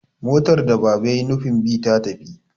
motar da Baba ya yi nufin bi ta tafi